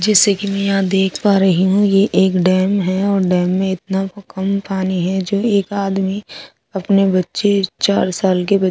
जैसे की में यहाँ देख पा रही हूँ ये एक डेम है और डेम इतना कम पानी है चल एक आदमी आपने बच्चे चार साल के बच्चे --